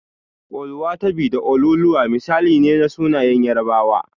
Oluwatobi da Oluoluwa misali ne na sunayen Yarabawa.